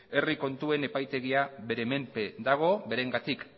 herri kontuen euskal epaitegia bere menpe dago berengatik